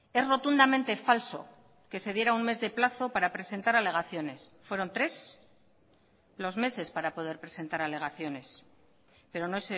es rotundamente falso que se diera un mes de plazo para presentar alegaciones fueron tres los meses para poder presentar alegaciones pero no